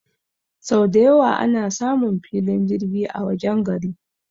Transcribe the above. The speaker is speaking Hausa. sau dayawa ana samun filin jirgi a wajen gari